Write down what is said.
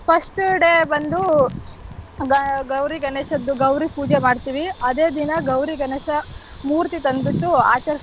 First day ಬಂದು ಗ~ಗೌರಿ ಗಣೇಶದ್ದು ಗೌರಿ ಪೂಜೆ ಮಾಡ್ತೀವಿ ಅದೇ ದಿನ ಗೌರಿ ಗಣೇಶ ಮೂರ್ತಿ ತಂದ್ಬಿಟ್ಟು ಆಚರಿಸ್ತೀವಿ.